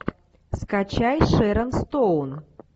скачай шерон стоун